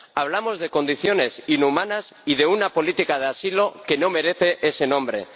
Hablamos de condiciones inhumanas y de una política de asilo que no merece ese nombre.